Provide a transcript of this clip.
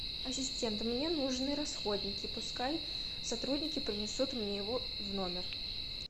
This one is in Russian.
ассистент мне нужны расходники пускай сотрудники принесут мне его в номер